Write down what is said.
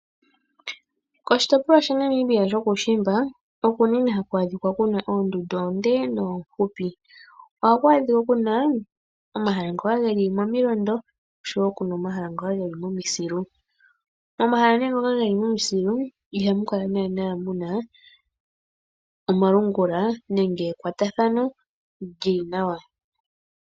Koshitopolwa shaNamibia shokuushimba oko unene haku adhika ku na oondundu oonde noofupi. Ohaku adhika ku na omahala ngoka geli momilondo osho wo omahala ngoka geli momasilu. Momahala ngoka geli momasilu ihamu kala naana mu na omalungula nenge ekwatathano lyili nawa.